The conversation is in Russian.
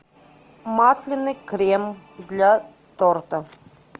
масляный крем для торта